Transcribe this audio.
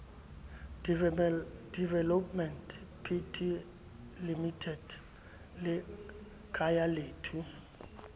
developments pty limited le khayalethu